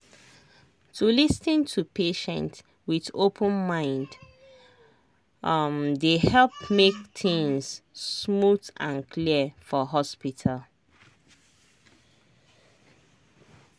to lis ten to patient with open mind um dey help make things smooth and clear for hospital.